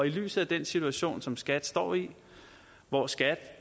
lyset af den situation som skat står i hvor skat